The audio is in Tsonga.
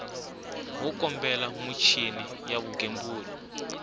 wo kambela michini ya vugembuli